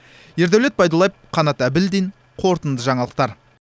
ердәулет байдуллаев қанат әбілдин қорытынды жаңалықтар